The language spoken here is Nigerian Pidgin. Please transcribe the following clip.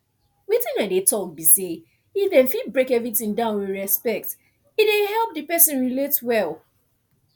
wetin i dey talk be say if dem fit break everything down with respect e dey help the person relate well